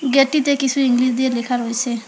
Gate -টিতে কিছু English দিয়ে লেখা রয়েছে।